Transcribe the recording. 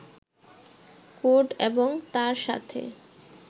code এবং তার সাথে